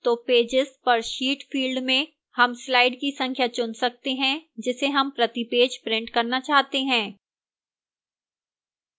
तो pages per sheet field में हम slides की संख्या चुन सकते हैं जिसे हमें प्रति pages print करना चाहते हैं